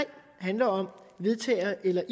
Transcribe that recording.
handler om vedtager eller